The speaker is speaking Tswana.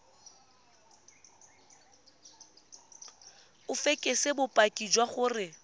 o fekese bopaki jwa gore